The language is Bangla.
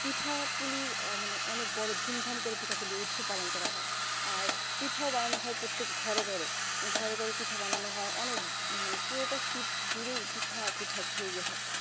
পিঠাপুলির মানে অনেক বড়ো ধুমধাম করে পিঠাপুলির উৎসব পালন করা হয় আর পিঠাও বানানো হয় প্রত্যেক ঘরে ঘরে ঘরে ঘরে পিঠাও বানানো হয় অনেক মানে পুরোটা শীত জুড়েই পিঠা পিঠা খেয়ে গেলাম